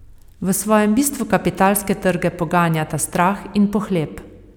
V svojem bistvu kapitalske trge poganjata strah in pohlep.